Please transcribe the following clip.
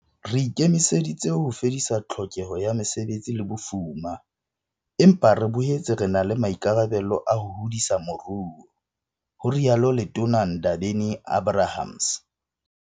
"Re ikemiseditse ho fedisa tlhokeho ya mesebetsi le bofuma, empa re boetse re na le maikarabelo a ho hodisa moruo," ho rialo Letona Ndabeni-Abrahams.